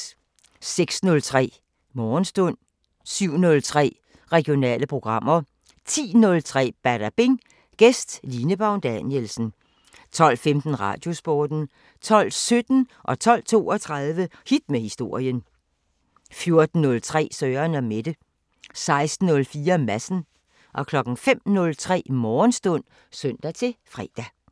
06:03: Morgenstund 07:03: Regionale programmer 10:03: Badabing: Gæst Line Baun Danielsen 12:15: Radiosporten 12:17: Hit med historien 12:32: Hit med historien 14:03: Søren & Mette 16:04: Madsen 05:03: Morgenstund (søn-fre)